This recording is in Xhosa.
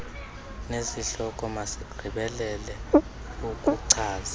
nesihloko masigqibelele ukuchaza